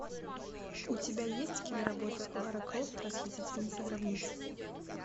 у тебя есть киноработа лара крофт расхитительница гробниц